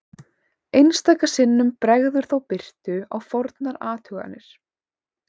Einstaka sinnum bregður þó birtu á fornar athuganir.